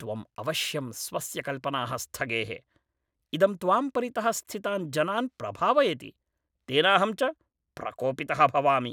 त्वम् अवश्यं स्वस्य कल्पनाः स्थगेः। इदं त्वां परितः स्थितान् जनान् प्रभावयति, तेनाहं च प्रकोपितः भवामि।